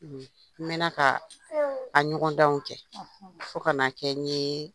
N mɛn na ka a ɲɔgɔndanw kɛ fo ka na kɛ n ye